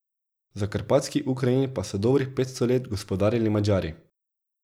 Zakarpatski Ukrajini pa so dobrih petsto let gospodarili Madžari.